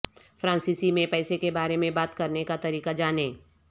فرانسیسی میں پیسے کے بارے میں بات کرنے کا طریقہ جانیں